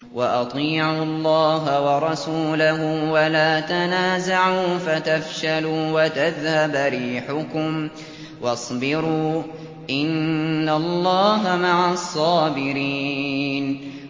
وَأَطِيعُوا اللَّهَ وَرَسُولَهُ وَلَا تَنَازَعُوا فَتَفْشَلُوا وَتَذْهَبَ رِيحُكُمْ ۖ وَاصْبِرُوا ۚ إِنَّ اللَّهَ مَعَ الصَّابِرِينَ